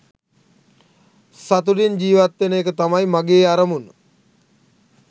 සතුටින් ජීවත්වෙන එක තමයි මගේ අරමුණ .